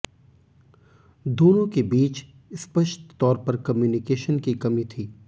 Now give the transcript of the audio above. दोनों के बीच स्पष्ट तौर पर कम्युनिकेशन की कमी थी